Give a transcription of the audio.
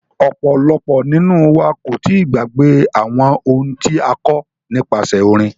Ọ̀pọ̀lọpọ̀ nínú wa kò tíì gbàgbé àwọn ohun tí a kọ́ nípasẹ orin.